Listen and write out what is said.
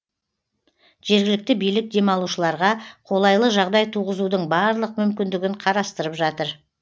жергілікті билік демалушыларға қолайлы жағдай туғызудың барлық мүмкіндігін қарастырып жатыр